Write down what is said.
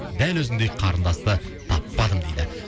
дәл өзіңдей қарындасты таппадым дейді